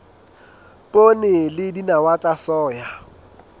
poone le dinawa tsa soya